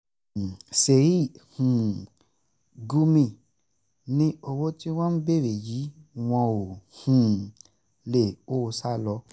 sheik um gumi ni owó tí wọ́n ń béèrè yìí wọn ò um lè kó o sá lọ